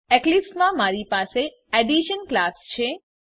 Eclipse માં મારી પાસે એડિશન ક્લાસ છે